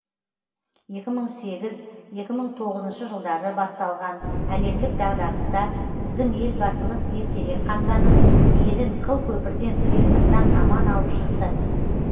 екі мың сегіз екі мың тоғызыншы жылдары басталған әлемдік дағдарыста біздің елбасымыз ертерек қамданып елін қыл көпірден қиындықтан аман алып шықты